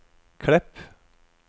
Klepp